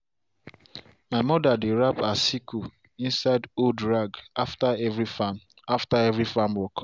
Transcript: my mother dey wrap her sickle inside old rag after every farm after every farm work.